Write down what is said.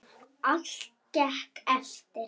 Allt gekk eftir.